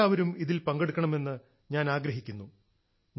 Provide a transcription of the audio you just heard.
നിങ്ങൾ എല്ലാവരും ഇതിൽ പങ്കെടുക്കണമെന്ന് ഞാൻ ആഗ്രഹിക്കുന്നു